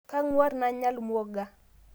Kang'war nanya lmuoga